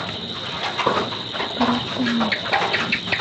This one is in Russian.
корпорация монстров